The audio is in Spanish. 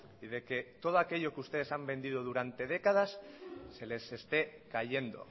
y de que todo aquello que ustedes han vendido durante décadas se les esté cayendo